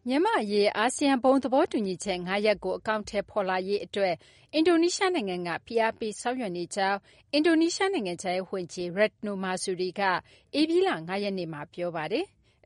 မြန်မာ့အရေး အာဆီယံ ဘုံသဘောတူညီချက် ၅ ရပ်ကို အကောင်အထည်ဖော်လာရေးအတွက် အင်ဒိုနီးရှားနိုင်ငံက ဖိအားပေးဆောင်ရွက်နေကြောင်း အင်ဒိုနီးရှား နိုင်ငံခြားရေးဝန်ကြီး Retno Marsudi က ဧပြီလ ၅ ရက်နေ့မှာ ပြောပါတယ်။